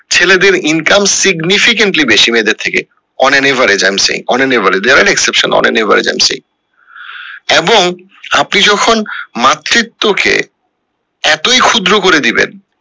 ছেলেদের income significently বেশি মেয়েদের থেকে on an average i am saying on an average there are exception on an average i am saying এবং আপনি যখন মাতৃত্ব কে এতোই ক্ষুদ্র করে দিবেন